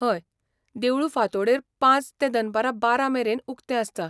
हय. देवूळ फांतोडेर पांच ते दनपारां बारा मेरेन उक्तें आसता.